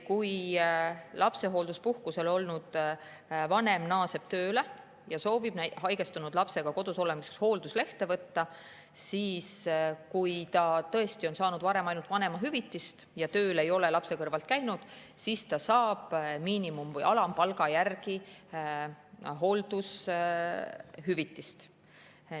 Kui lapsehoolduspuhkusel olnud vanem naaseb tööle ja soovib haigestunud lapsega kodus olemiseks hoolduslehte võtta, siis juhul, kui ta tõesti on saanud varem ainult vanemahüvitist, ei ole lapse kõrvalt tööl käinud, ta saab miinimum- või alampalga järgi hooldushüvitist.